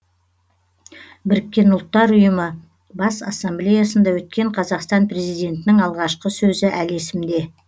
біріккен ұлттар ұйымы бас ассамблеясында өткен қазақстан президентінің алғашқы сөзі әлі есімде